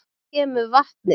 Hvaðan kemur vatnið?